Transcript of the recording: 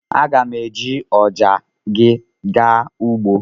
M ga-eji ọja gị gaa ugbo.